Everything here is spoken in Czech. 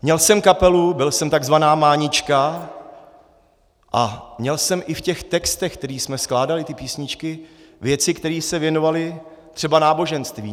Měl jsem kapelu, byl jsem tzv. mánička a měl jsem i v těch textech, které jsme skládali, ty písničky, věci, které se věnovaly třeba náboženství.